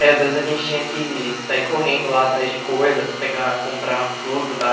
Aí, às vezes, a gente tinha que sair correndo lá atrás de coisa para pegar, comprar fruta e tal.